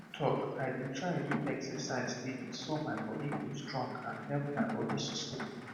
true talk i dey try do exercise steady so my body go strong and help my body system